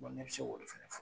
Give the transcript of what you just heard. ne bi se k'o de fɛnɛ fɔ.